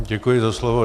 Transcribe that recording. Děkuji za slovo.